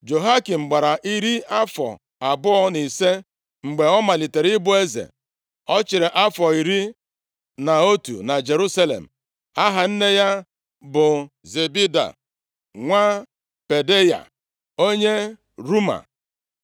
Jehoiakim gbara iri afọ abụọ na ise mgbe ọ malitere ịbụ eze. Ọ chịrị afọ iri na otu na Jerusalem. Aha nne ya bụ Zebida nwa Pedaya, onye Ruma.